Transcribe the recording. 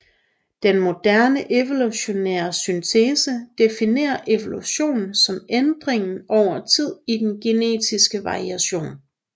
Den moderne evolutionære syntese definerer evolution som ændringen over tid i denne genetiske variation